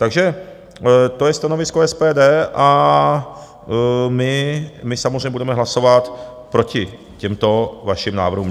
Takže to je stanovisko SPD a my samozřejmě budeme hlasovat proti těmto vašim návrhům.